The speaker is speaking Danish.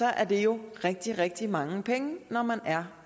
er det jo rigtig rigtig mange penge når man er